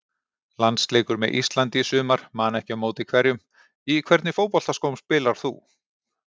Landsleikur með Íslandi í sumar man ekki á móti hverjum Í hvernig fótboltaskóm spilar þú?